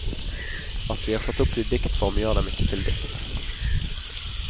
At de er satt opp i diktform gjør dem ikke til dikt.